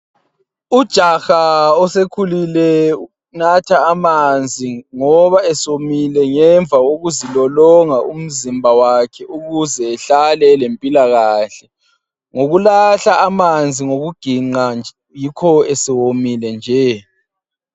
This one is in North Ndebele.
Ujaha osekhululile unatha amanzi ngoba esewomile ngemva kokuzilolonga umzimba wakhe ukuze ehlale elempilakahle. Ngokulahla amanzi ngokuginqa, yikho esewomile nje.